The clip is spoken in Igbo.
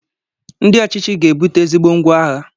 Ndị ọchịchị ga ebute ezigbo ngwá agha